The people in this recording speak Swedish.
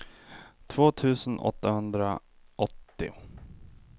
två tusen åttahundraåttio